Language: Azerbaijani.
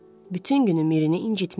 Bütün günü Mirini incitmişdi.